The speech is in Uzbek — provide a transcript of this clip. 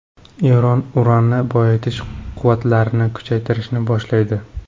Eron uranni boyitish quvvatlarini kuchaytirishni boshlaydi.